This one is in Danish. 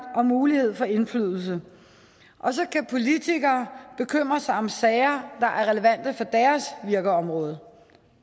og mulighed for indflydelse og så kan politikere bekymre sig om sager der er relevante for deres virkeområde